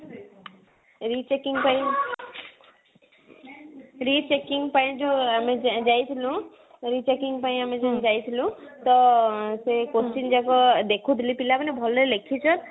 rechecking ପାଇଁ rechecking ପାଇଁ ଆମେ ଯୋଉ ଯାଇଥିଲୁ rechecking ପାଇଁ ଆମେ ଯୋଉ ଯାଇଥିଲୁ ତ ସେଇ question ଯାକ ଦେଖୁଥିଲି ପିଲାମାନେ ଭଲ ଲେଖିଚ